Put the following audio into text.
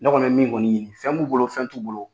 Ne kɔni bɛ min kɔni ɲini fɛn b'u bolo fɛn t'u bolo.